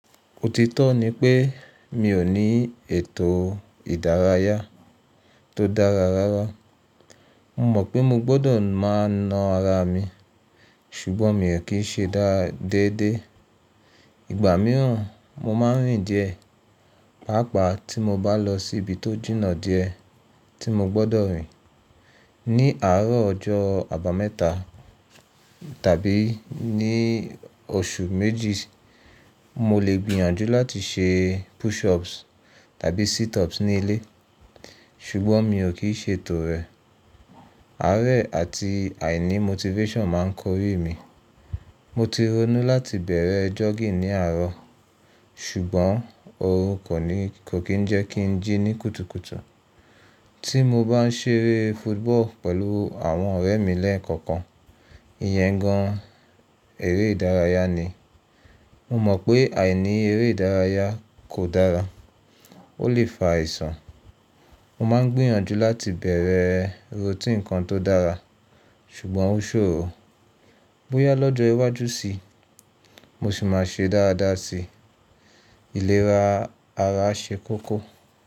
Òtítọ́ ni pé mi ò ní ètò ìdárayá tó dára rárá. Mo mọ̀ pé mo gbọ́dọ̀ máa na ara mi ṣùgbọ́n mi ò kí n ṣe dáa dédé. Ìgbà mìíràn mo máa ń rìn díẹ̀, pàápàá tí mo bá lọ sí ibi tó jìnnà díẹ̀ tí mo gbọ́dọ̀ rìn. Ní àárọ̀ ọjọ́ abameta tàbí ní oṣù méjì, mo lè gbìyànjú láti ṣe pushups tàbí situps ní ilé, ṣùgbọ́n mi ò kì í ṣe ètò rẹ̀. Árẹ̀ àti àìní motivation máa ń kọ̀rí mi. Mo ti ronú láti bẹ̀rẹ̀ jogging ní àárọ̀, ṣùgbọ́n òrùn kò kí ń jẹ́ kí n jí ní kùtùkùtù. Ti mo bá ń ṣeré football pẹ̀lú àwọn ọ̀rẹ́ mi lẹ́ẹ̀kọ̀kan, ìyẹn gan an eré ìdárayá ni. Mo mọ̀ pé àìní eré ìdárayá kò dára, ó lè fa àisàn. Mo máa ń gbìyànjú láti bẹ̀rẹ̀ routine kan tó dára, ṣùgbọ́n ó ṣòro. Bóyá lọ́jọ́ iwájú sí i, mo sì máa ṣe dáradára sí i. Ìlera ara ṣe kókó.